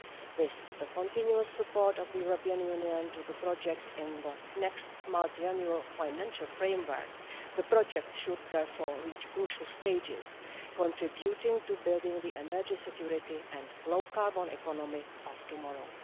With the continuous support of the European Union for the project in the next multiannual financial framework, the project should therefore reach crucial stages, contributing to building the energy, security and low carbon economy of tomorrow.